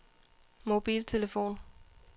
mobiltelefon